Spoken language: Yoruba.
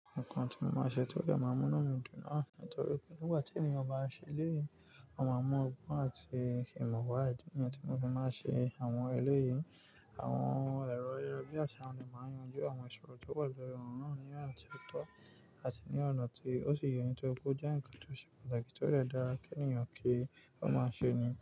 Nǹkan tí mo máa ṣe ti o dè máa n mú inu mi dun náà nítorí pé nígbà tí ènìyàn bá ń ṣe eleyii, ó máa mọ ogbon àti ìmọ̀ wa. Ìdí nìyẹn tí mo fi máa ṣe àwọn eléyìí. Àwọn èrò ayara bi asa àti àwọn èèyàn lè máa yanjú àwọn ìṣòro tó wà lórí ọ̀ràn náà ní ọ̀nà tí ó tọ́ àti ní ọ̀nà tí ó sì yẹni tó gbó jẹ́ ǹkan tó ṣe pàtàkì tó lè dára kí ènìyàn kí ó máa ṣe ni.